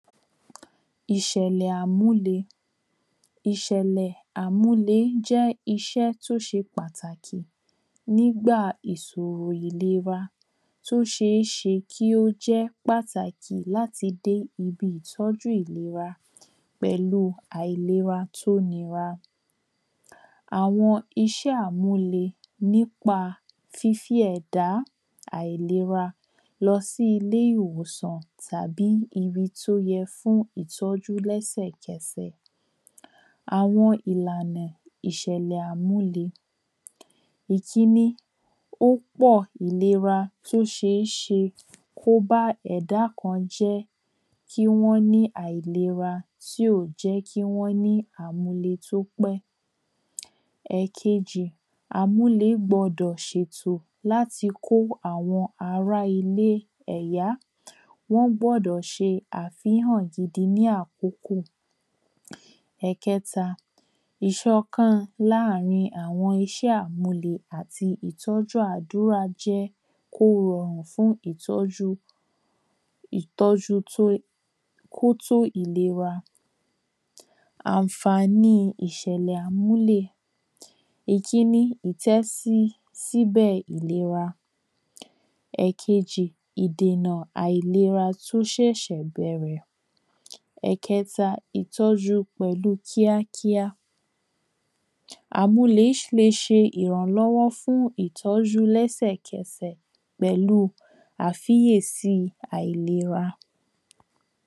Ìṣẹ̀lẹ̀ àmúle. Ìṣẹ̀lẹ̀ àmúle jẹ́ iṣẹ́ tó ṣe pàtàkì nígbà ìsòrò ìlera tó ṣé ṣe kí ó jẹ́ pàtàkì láti dé ibi ìtọ́jú ìlera pẹ̀lú àìlera tó nira. Àwọn iṣẹ́ àmúlẹ nípa fífí ẹ̀dá àìlera lọ sí ilé ìwòsàn tàbí ibi tó yẹ fún ìtọ́jú lẹ́sẹ̀ kẹsẹ̀. Àwọn ìlànà ìṣẹ̀lẹ̀ àmúle ìkíní ó pọ̀ ó ṣé ṣe kó bá ẹ̀dá kan jẹ́ kí wọ́n ní àìlera tí ó jẹ́ kí wọ́n ní àmúle tí ó pẹ́. Ẹ̀kejì àmúle gbọdọ̀ ṣètò láti kó àwọn ará ilé ẹ̀yá wọ́n gbọ́dọ̀ ṣe àfíhàn gidi ní àkókò. Ẹ̀kẹta ìṣọ̀kan láàrin àwọn iṣẹ́ àmúle àti ìtọ́jú àdúrà jẹ́ kó rọrùn fún ìtọ́jú ìtọ́jú tó kó tó ìlera. Ànfání ìṣẹ̀lẹ̀ àmúle ìkíní ìtẹ́sí ìtẹ́sí síbẹ̀ ìlera. Ìkejì ìdènà àilera tó ṣẹ̀ṣẹ̀ bẹ̀rẹ̀. Ẹ̀kẹta ìtọ́jú pẹ̀lú kíá kíá àmúle le ṣe ìrànlọ́wó fún ìtọ́jú lẹ́sè kẹsẹ̀ pẹ̀lú àfíyèsí àilera.